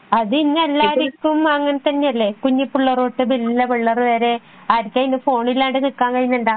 അത് ഇന്ന് എല്ലാർക്കും അങ്ങനെ തന്നെയല്ലേ കുഞ്ഞിപ്പിള്ളേർ തൊട്ടു വല്യ പിള്ളേർ വരെ ആർകെങ്കിലും ഫോൺ ഇല്ലാണ്ട് നിക്കാൻ കഴിയുന്നുണ്ടോ